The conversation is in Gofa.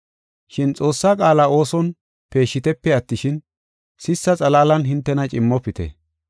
Shin Xoossaa qaala ooson peeshshitepe attishin, sissa xalaalan hintena cimmofite.